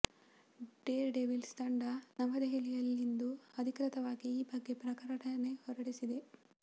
Deere devils ತಂಡ ನವದೆಹಲಿಯಲ್ಲಿಂದು ಅಧಿಕೃತವಾಗಿ ಈ ಬಗ್ಗೆ ಪ್ರಕಟಣೆ ಹೊರಡಿಸಿದೆ